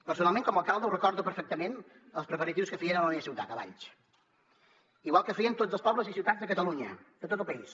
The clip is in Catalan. personalment com a alcalde recordo perfectament els preparatius que fèiem a la meva ciutat a valls igual que feien tots els pobles i ciutats de catalunya de tot el país